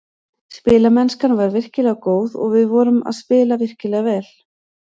Spilamennskan var virkilega góð og við vorum að spila virkilega vel.